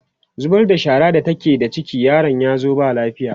ta zubar da shara da take da ciki yaron yazo ba lafiya